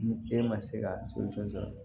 Ni e ma se ka so jɔn sɔrɔ